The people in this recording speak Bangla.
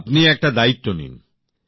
আপনি একটা দায়িত্ব নিন